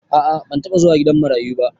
A'a ban taba zuwa gidan marayu ba.